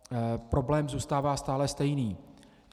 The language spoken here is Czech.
Problém zůstává stále stejný.